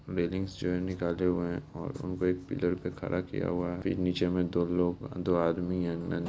railings जो है निकाले हुए है और उनको एक पिलर पे खड़ा किया हुआ है फिर नीचे मे दो लोग दो आदमी है न --